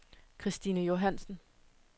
Kristine Johannsen